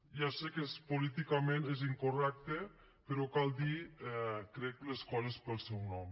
ja sé que políticament és incorrecte però cal dir crec les coses pel seu nom